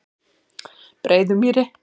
Breiðumýri